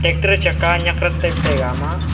tractor chaka nyak rak taipa taiga ama.